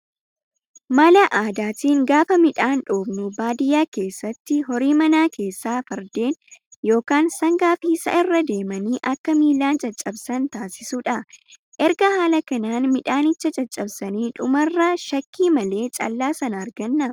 Mala aadaatiin gaafa midhaan dhoofnu baadiyyaa keessatti horii manaa keessaa fardeen yookaan sangaa fi sa'a irra deemanii akka miilaan caccabsan taasisuudha. Erga haala kanaan midhaanicha caccabsanii dhumarra shakkii malee callaa sana arganna